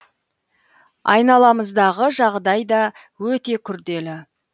айналамыздағы жағдай да өте күрделі